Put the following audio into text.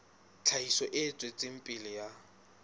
tlhahiso e tswetseng pele ya